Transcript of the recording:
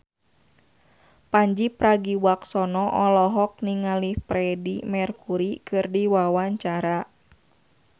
Pandji Pragiwaksono olohok ningali Freedie Mercury keur diwawancara